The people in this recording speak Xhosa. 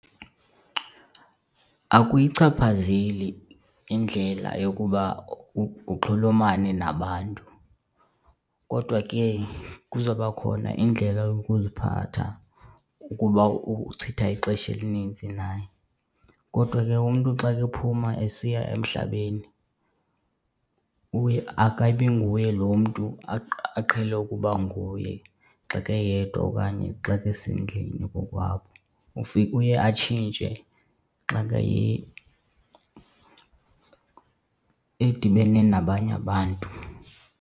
Akuyichaphazeli indlela yokuba uxhulumane nabantu kodwa ke kuzoba khona indlela yokuziphatha ukuba uchitha ixesha elinintsi naye. Kodwa ke umntu xa kephuma esiya emhlabeni uye akabi nguye lo mntu aqhele ukuba nguye xa keyedwa okanye xa kesendlini kokwabo. Ufike uye atshintshe xa edibene nabanye abantu.